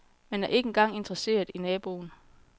Man er ikke engang interesseret i naboen.